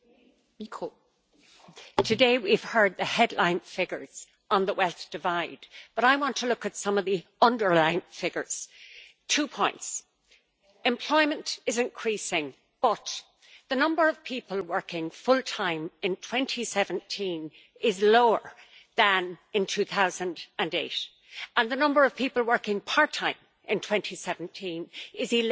Madam President, today we have heard the headline figures on the wealth divide, but I want to look at some of the underlying figures. Two points employment is increasing, but the number of people working full-time in 2017 is lower than in 2008 and the number of people working part-time in 2017 is